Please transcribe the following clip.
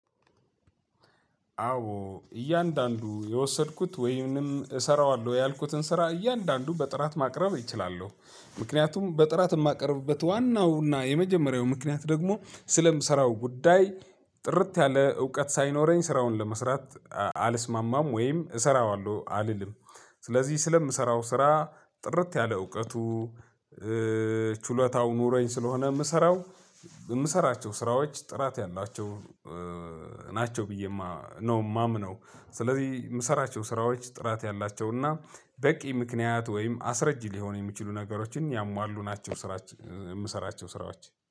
አዎ እያንዳንዱ የወሰድኩት ወይም እሰራዋለሁ ያልኩትን ስራ እያንዳንዱ በጥራት ማቅረብ እችላለው። ምክንያቱም በጥራት የማቀርብበት ዋናውና የመጀመሪያው ምክንያት ደግሞ ስለምሰራው ጉዳይ ጥርት ያለ እውቀት ሳይኖረኝ ስራውን ለመስራት አልስማማም ወይም እሰራዋለሁ አልልም። ስለዚህ ስለምሰራው ስራ ጥርት ያለ እውቀቱ። ችሎታው ኑረኝ ስለሆነ የምሰራው የምሰራቸው ስራዎች ጥራት ያላቸው ናቸው ብዬ ማ ነው ማምነው። ስለዚህ የምሰራቸው ስራዎች ጥራት ያላቸውና በቂ ምክንያት ወይም አስረጅ ሊሆን የሚችሉ ነገሮችን ያሟሉ ናቸው። ስራችን የምሰራቸው ስራዎች